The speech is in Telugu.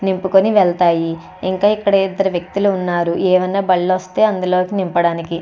నింపుకుని వెళ్తాయి ఇంకా ఇక్కడ ఇదరు వ్యక్తులు ఉన్నారు ఏమన్నా బళ్ళు వస్తే అందులోకి నింపడానికి.